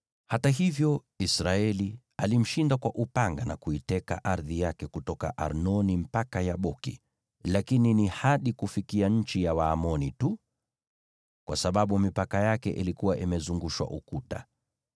Hata hivyo, Israeli alimshinda kwa upanga na kuiteka ardhi yake kutoka Arnoni mpaka Yaboki, lakini ni hadi kufikia nchi ya Waamoni tu, kwa sababu mipaka yake ilikuwa imezungushwa ukuta.